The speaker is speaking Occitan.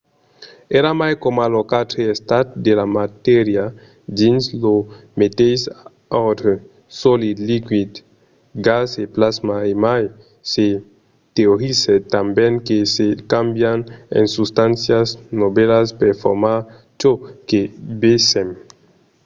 èra mai coma los quatre estats de la matèria dins lo meteis òrdre: solid liquid gas e plasma e mai se teorizèt tanben que se càmbian en substàncias novèlas per formar çò que vesèm